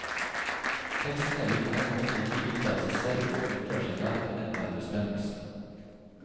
Tekstene vil på en måte ikke vite av seg selv og unndrar seg derfor enhver bestemmelse.